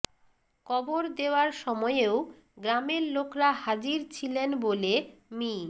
কবর দেওয়ার সময়েও গ্রামের লোকরা হাজির ছিলেন বলে মি